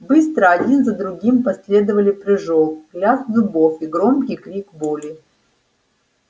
быстро один за другим последовали прыжок лязг зубов и громкий крик боли